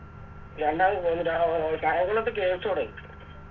കായങ്കുളത്ത് കെട്ടുവോടെ